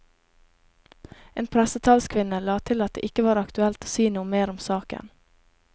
En pressetalskvinne la til at det ikke var aktuelt å si noe mer om saken.